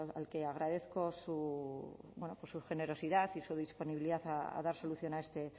al que agradezco bueno pues su generosidad y su disponibilidad a dar solución a este